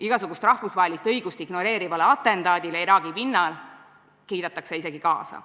Igasugust rahvusvahelist õigust ignoreerivale atentaadile, mis Iraagi pinnal tehakse, kiidetakse isegi kaasa.